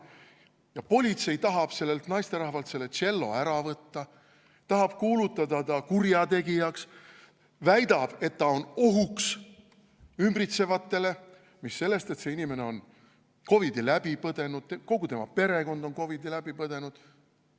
Ja politsei tahab sellelt naisterahvalt tšello ära võtta, tahab kuulutada ta kurjategijaks, väidab, et ta on ohuks ümbritsevatele, mis sellest, et see inimene on COVID-i läbi põdenud, kogu tema perekond on COVID‑i läbi põdenud.